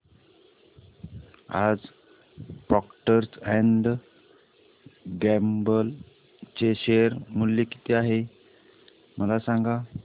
आज Procter and Gamble चे share मूल्य किती आहे मला सांगा